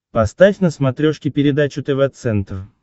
поставь на смотрешке передачу тв центр